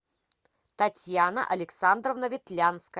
татьяна александровна ветлянская